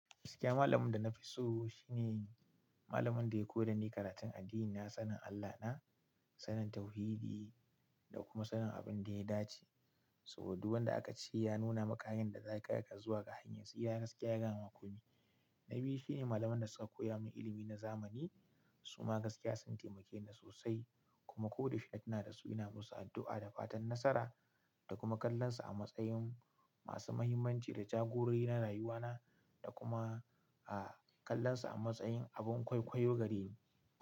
Gaskiya malamin da na fi so shi ne malamin da ya koyar da ni karatun addini. Na sanin Allahna, sanin tauhidi da kuma sanin abin da ya dace. Saboda duk wanda aka ce ya nuna maka yan da za ka iya zuwa ga hanyar tsura gaskiya ya gama komi na biyu shi ne malaman da suka koya mini ilimi na zamani. Su ma gaskiya sun taimake ni sosai kuma ko da yaushe na tuna da su ina musu addu'a da fatan nasara da kuma kallansu a matsayin masu fahimmanci da kuma jagororo na rayuwa na da kuma a kallansu abun kwaikwayo gare ni.